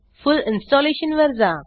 फुल installation वर जा